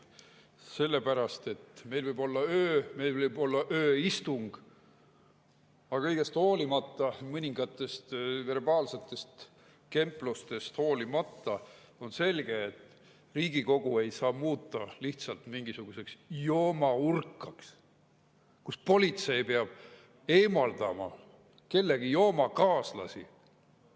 Sellepärast et meil võib olla ööistung, aga kõigest hoolimata, mõningatest verbaalsetest kemplustest hoolimata on selge, et Riigikogu ei saa muuta lihtsalt mingisuguseks joomaurkaks, kus politsei peab kellegi joomakaaslasi eemaldama.